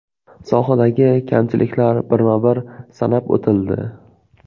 Sohadagi kamchiliklar birma-bir sanab o‘tildi.